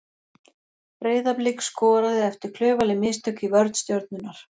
Breiðablik skoraði eftir klaufaleg mistök í vörn Stjörnunnar.